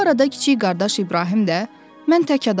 Bu arada kiçik qardaş İbrahim də mən tək adamam.